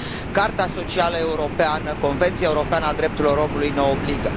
Carta socială europeană, Convenția europeană a drepturilor omului ne obligă.